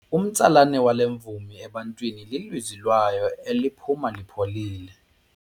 Umtsalane wale mvumi ebantwini lilizwi layo eliphuma lipholile.